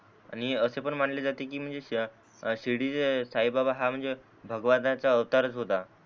आणि असे पण म्हणले जाते की म्हणजे शिर्डीचे साई बाबा हा म्हणजे भगवाद्राचा अवतारच होता.